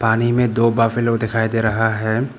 पानी में दो बफेलो दिखाई दे रहा है।